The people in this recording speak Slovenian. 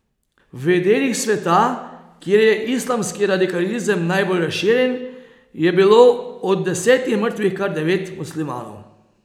V delih sveta, kjer je islamski radikalizem najbolj razširjen, je bilo od desetih mrtvih kar devet muslimanov.